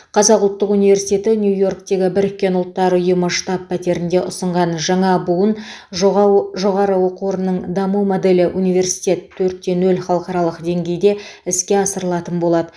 қазақ ұлттық университеті нью йорктегі біріккен ұлттар ұйымы штаб пәтерінде ұсынған жаңа буын жоғауы жоо ның даму моделі университет төртте нөл халықаралық деңгейде іске асырылатын болады